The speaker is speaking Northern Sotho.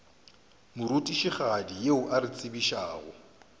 morutišigadi yo a re tsebišago